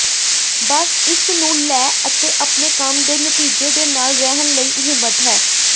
ਬਸ ਇਸ ਨੂੰ ਲੈ ਅਤੇ ਆਪਣੇ ਕੰਮ ਦੇ ਨਤੀਜੇ ਦੇ ਨਾਲ ਰਹਿਣ ਲਈ ਹਿੰਮਤ ਹੈ